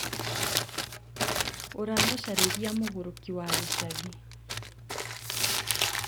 ũramũcarĩria mũgũrũki wa gĩcagĩ